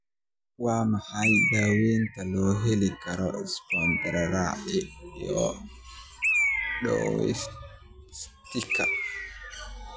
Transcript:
Waa maxay daawaynta loo heli karo spondylothoracic dysostosiska?